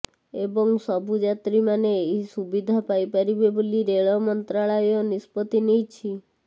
ଏବଂ ସବୁଯାତ୍ରୀ ମାନେ ଏହି ସୁବିଧା ପାଇପାରିବେ ବୋଲି ରେଳ ମନ୍ତ୍ରାଳୟ ନିଷ୍ପତ୍ତି ନେଇଛି